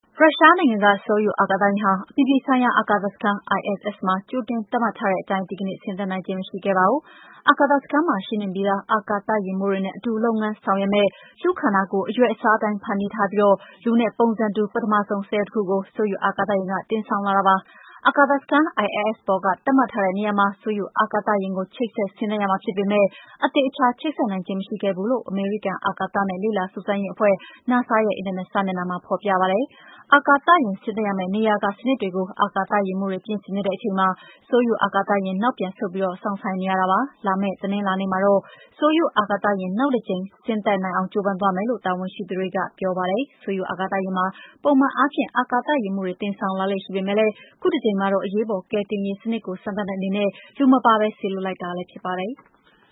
ရုရှားနိုင်ငံက ဆိုယု အာကာသယာဉ်ဟာ အပြည်ပြည်ဆိုင်ရာ အာကာသစခန်း ISS မှာ ကြိုတင် သတ်မှတ်ထားတဲ့အတိုင်း ဒီကနေ့ ဆင်းသက်နိုင်ခြင်း မရှိခဲ့ပါဘူး။ အာကာသစခန်းမှာ ရှိနှင့်ပြီးသား အာကာသယာဉ်မှူးတွေနဲ့အတူ လုပ်ငန်းဆောင်ရွက်မယ့် လူ့ခန္ဓာကိုယ် အရွယ်အစားအတိုင်း ဖန်တီးထားပြီး လူနဲ့ပုံစံတူ ပထမဆုံး စက်ရုပ်တခုကို ဆိုယုအာကာသယာဉ်က တင်ဆောင်လာတာပါ။ အာကာသစခန်း ISS ပေါ်က သတ်မှတ်ထားတဲ့နေရာမှာ ဆိုယုအာကာသယာဉ်ကို ချိတ်ဆက် ဆင်းသက် ရမှာဖြစ်ပေမယ့် အသေအချာ ချိတ်ဆက်နိုင်ခြင်း မရှိခဲ့ဘူးလို့ အမေရိကန် အာကာသနဲ့ လေ့လာစူးစမ်းရေးအဖွဲ့ NASA ရဲ့ အင်တာနက်စာမျက်နှာမှာ ဖော်ပြထားပါတယ်။ အာကာသယာဉ် ဆင်းသက်ရမယ့် နေရာက စနစ်တွေကို အာကာသယာဉ်မှူးတွေ ပြင်ဆင်နေတဲ့အချိန်မှာ ဆိုယုအာကာသယာဉ်က နောက်ပြန်ဆုတ်ပြီး စောင့်ဆိုင်းနေရပါတယ်။ လာမယ့်တနင်္လာနေ့မှာတော့ ဆိုယုအာကာသယာဉ် နောက်တကြိမ် ဆင်းသက်နိုင်အောင် ကြိုးပမ်းသွားမယ်လို့ တာဝန်ရှိသူတွေက ပြောပါတယ်။ ဆိုယု အာကာသယာဉ်မှာ ပုံမှန်အားဖြင့် အာကာသယာဉ်မှူးတွေ တင်ဆောင်လာလေ့ရှိပေမယ့် ခုတကြိမ်မှာတော့ အရေးပေါ်ကယ်တင်ရေးစနစ်ကို စမ်းသပ်တဲ့အနေနဲ့ လူမပါဘဲ စေလွှတ်လိုက်တာဖြစ်ပါတယ်။